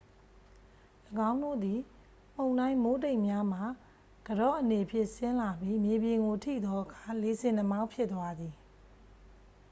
၎င်းတို့သည် မုန်တိုင်း မိုးတိမ်များမှ ကန်တော့အနေဖြင့် ဆင်းလာပြီး မြေပြင်ကို ထိသောအခါ လေဆင်နှာမောင်းဖြစ်သွားသည်